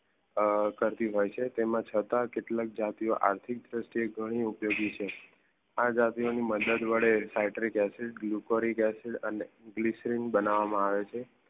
અ કાર ભી હોય છે તેમાં છતાં કેટલાક જાતિઓ આર્થિક ધૃસતી એ ઘણી ઉપયોગી છે આ જાતિઓ ની મદદ વડે સ્યટ્રિક ઍસિડ ગ્લુકારિક ઍસિડ અને ગ્લ્યસરીન બનવા માં આવે છે